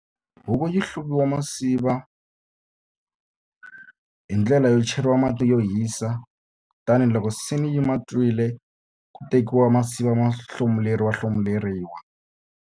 Huku yi hluvisiwa tinsiva hi ndlela yo cheriwa mati yo hisa. Kutani loko se ni yi ma twile, ku tekiwa tinsiva ti hlomuleriwahlomuleriwa.